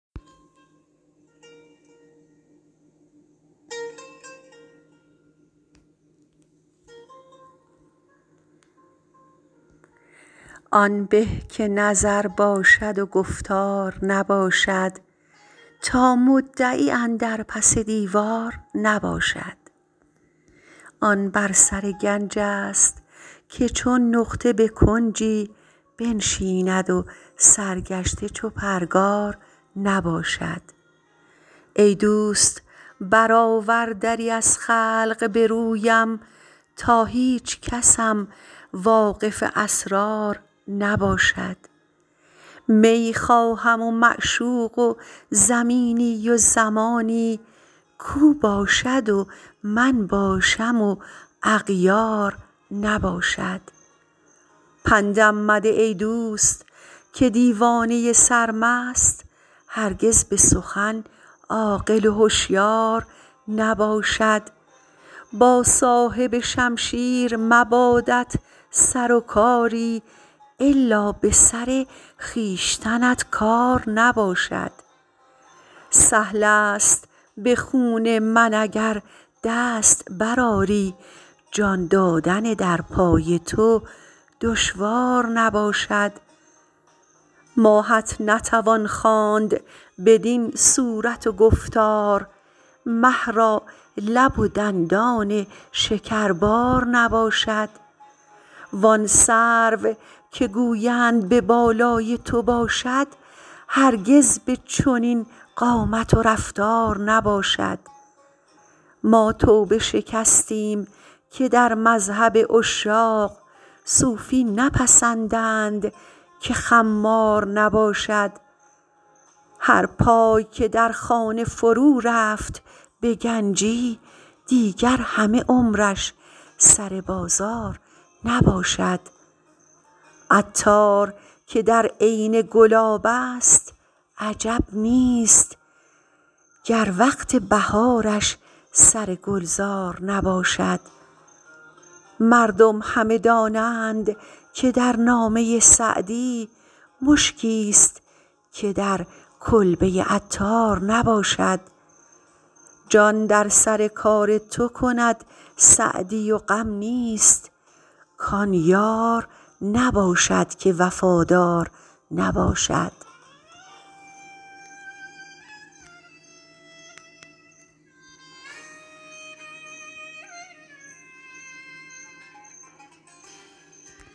آن به که نظر باشد و گفتار نباشد تا مدعی اندر پس دیوار نباشد آن بر سر گنج ست که چون نقطه به کنجی بنشیند و سرگشته چو پرگار نباشد ای دوست برآور دری از خلق به رویم تا هیچکسم واقف اسرار نباشد می خواهم و معشوق و زمینی و زمانی کاو باشد و من باشم و اغیار نباشد پندم مده ای دوست که دیوانه سرمست هرگز به سخن عاقل و هشیار نباشد با صاحب شمشیر مبادت سر و کاری الا به سر خویشتنت کار نباشد سهل است به خون من اگر دست برآری جان دادن در پای تو دشوار نباشد ماهت نتوان خواند بدین صورت و گفتار مه را لب و دندان شکربار نباشد وان سرو که گویند به بالای تو باشد هرگز به چنین قامت و رفتار نباشد ما توبه شکستیم که در مذهب عشاق صوفی نپسندند که خمار نباشد هر پای که در خانه فرو رفت به گنجی دیگر همه عمرش سر بازار نباشد عطار که در عین گلاب است عجب نیست گر وقت بهارش سر گلزار نباشد مردم همه دانند که در نامه سعدی مشکیست که در کلبه عطار نباشد جان در سر کار تو کند سعدی و غم نیست کان یار نباشد که وفادار نباشد